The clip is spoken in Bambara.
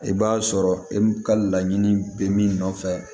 I b'a sɔrɔ e ka laɲini bɛ min nɔfɛ